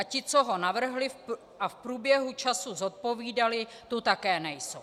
A ti, co ho navrhli a v průběhu času zodpovídali, tu také nejsou.